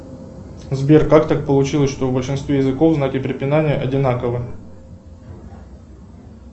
сбер как так получилось что в большинстве языков знаки препинания одинаковы